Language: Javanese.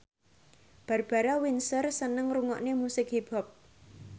Barbara Windsor seneng ngrungokne musik hip hop